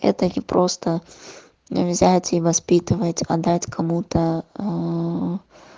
это не просто взять и воспитывать отдать кому-то аа